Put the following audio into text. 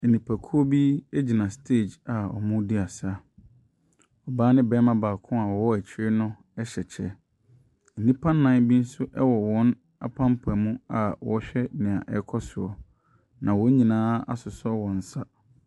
Nipakuo bi gyina stage a wɔredi asa. Ɔbaa ne barima baako a wɔwɔ akyire no hyɛ ɛkyɛ. Nnipa nnan bi nso wɔ wɔn apampam a wɔrehɛ deɛ ɛrekɔ so. Na wɔn nyinaa asosɔ wɔn nsa.